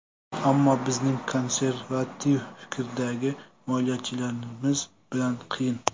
Ammo bizning konservativ fikrdagi moliyachilarimiz bilan qiyin.